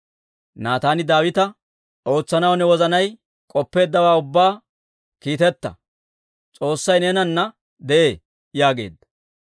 Naataani Daawita, «Ootsanaw ne wozanay k'oppeeddawaa ubbaa kiiteta; S'oossay neenana de'ee» yaageedda.